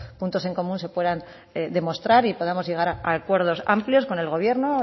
puntos en común se puedan demostrar y podamos llegar a acuerdos amplios con el gobierno